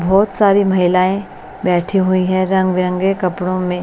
बहुत सारी महिलाएं बैठी हुई हैं रंग बिरंगे कपड़ों में--